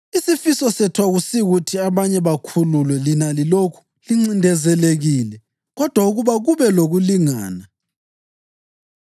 Isifiso sethu akusikuthi abanye bakhululwe lina lilokhu lincindezelekile kodwa ukuba kube lokulingana.